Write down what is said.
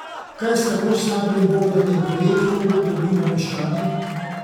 Kaj s tako slabim vodenjem projektov dobimo meščani?